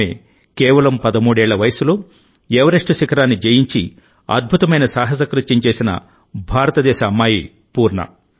ఆమే కేవలం 13 ఏళ్ల వయస్సులో ఎవరెస్ట్ శిఖరాన్ని జయించి అద్భుతమైన సాహసకృత్యం చేసిన భారతదేశ అమ్మాయి పూర్ణ